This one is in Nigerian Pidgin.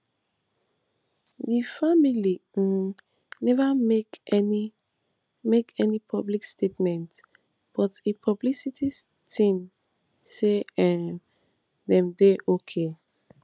di family um neva make any make any public statements but im publicity team say um dem dey okay